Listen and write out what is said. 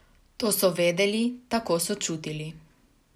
To so vedeli, tako so čutili.